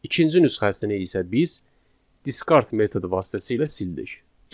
İkinci nüsxəsini isə biz discard metodu vasitəsilə sildik.